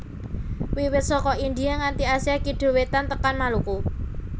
Wiwit saka India nganti Asia Kidul Wétan tekan Maluku